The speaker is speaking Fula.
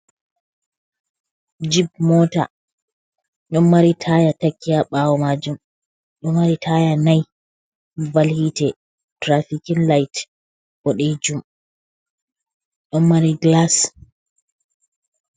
Jib mota, ɗon mari taya takki ha ɓawo majum. Ɗo mari taya nai. Ɓaɓal hite, tirafikin lait, ɓoɗejum, ɗon mari gilas.